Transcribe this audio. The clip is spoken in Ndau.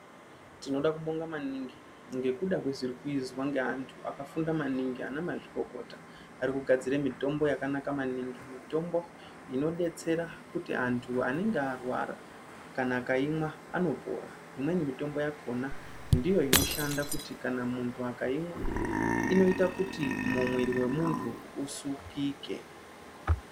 Tinoda kubonga maningi ngekuda kwezviri kuizwa ngantu akafunda maningi ana mazvikokota arikugadzira mitombo yakanaka maningi, mitombo imodetsera kuti antu anenge arwara kana akaimwa anopora. Imweni mitombo yakona ndiyo inoshanda kuti kana muntu akaimwa inoita kuti mwiri wemuntu usukike.